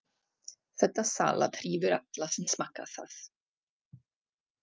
Þetta salat hrífur alla sem smakka það.